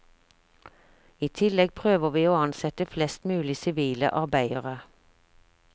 I tillegg prøver vi å ansette flest mulig sivile arbeidere.